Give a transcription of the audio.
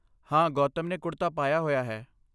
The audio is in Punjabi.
ਹਾਂ, ਗੌਤਮ ਨੇ ਕੁੜਤਾ ਪਾਇਆ ਹੋਇਆ ਹੈ।